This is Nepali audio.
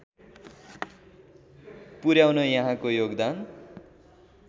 पुर्‍याउन यहाँको योगदान